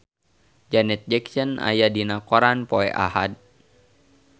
Janet Jackson aya dina koran poe Ahad